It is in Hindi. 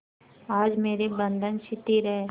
आज मेरे बंधन शिथिल हैं